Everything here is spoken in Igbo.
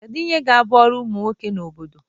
Kedu ihe ga-abụ ọrụ ụmụ nwoke na obodo?